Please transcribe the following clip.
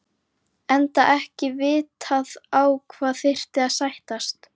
Enda ekki vitað þá á hvað þyrfti að sættast.